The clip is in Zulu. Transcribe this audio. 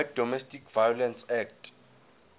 wedomestic violence act